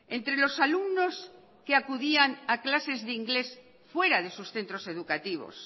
entre los alumnos que acudían a clases de inglés fuera de sus centros educativos